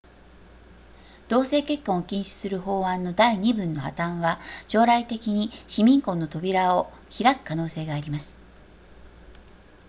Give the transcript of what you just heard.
同性結婚を禁止する法案の第二文の破綻は将来的に市民婚の扉を開く可能性があります